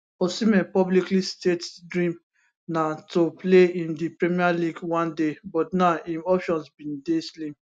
osimhen publicly state dream na to play in di premier league one day but now im options bin dey slim